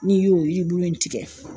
N'i y'o yiribulu in tigɛ